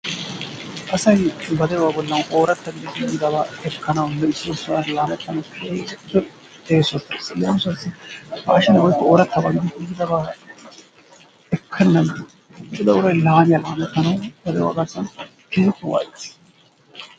asay ba de'uwa bollan oorata gididi yiidaba ekkanaawu keehippe eessotes, leemisuwaw pashshine woykko oorata gididi yiidababa ekkennan ixxida uray laammiya laammetanaw ba de'uwaa garssan keehippe waayettees.